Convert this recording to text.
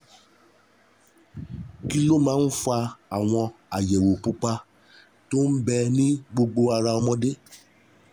Kí ló máa ń fa àwọn àyẹ̀wò pupa tó ń bẹ ní gbogbo ara ọmọdé?